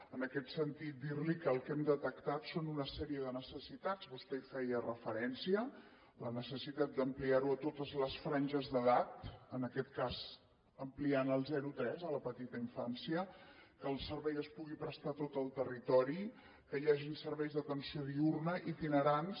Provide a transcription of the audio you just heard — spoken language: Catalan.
en aquest sentit dir li que el que hem detectat són una sèrie de necessitats vostè hi feia referència la necessitat d’ampliar ho a totes les franges d’edat en aquest cas ampliant al zero a tres a la petita infància que el servei es pugui prestar a tot el territori que hi hagin serveis d’atenció diürna itinerants